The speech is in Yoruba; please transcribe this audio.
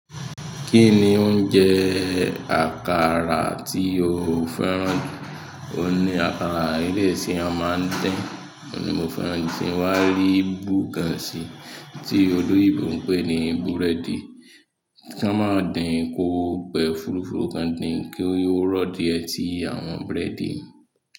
Kí ni oúnjẹ àkàrà tí o fẹ́ràn jù? Ó ní àkàrà ilé sí a máa ń dín, òní mo fẹ́ràn tí n wá ri bugàn ṣì, tí oloyinbò ń pè ní búrẹ́dì. Kan mọ dín ko pẹ̀ fúrúfúrú kan dín kí ó rọ̀ díẹ̀ tí àwọn búrẹ́dì.